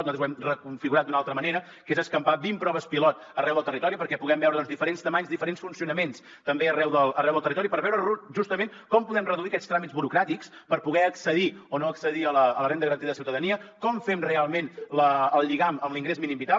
nosaltres ho hem reconfigurat d’una altra manera que és escampar vint proves pilot arreu del territori perquè puguem veure diferents volums diferents funcionaments també arreu d’arreu del territori per veure justament com podem reduir aquests tràmits burocràtics per poder accedir o no accedir a la renda garantida de ciutadania com fem realment el lligam amb l’ingrés mínim vital